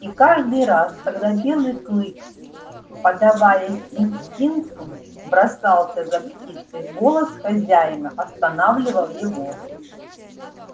и каждый раз когда белый клык подаваясь инстинкту бросался за птицей голос хозяина останавливал его